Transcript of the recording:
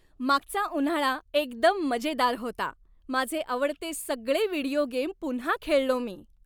मागचा उन्हाळा एकदम मजेदार होता. माझे आवडते सगळे व्हिडिओ गेम पुन्हा खेळलो मी.